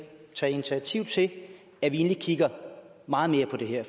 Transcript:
tage initiativ til at vi kigger meget mere på det her